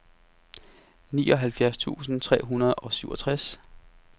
nioghalvfjerds tusind tre hundrede og syvogtres